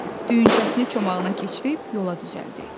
Düyünçəsini çomağına keçirib yola düzəldi.